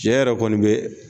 Cɛ yɛrɛ kɔni be